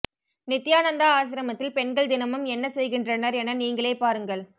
நித்தியானந்தா ஆசிரமத்தில் பெண்கள் தினமும் என்ன செய்கின்றனர் என நீங்களே பாருங்கள்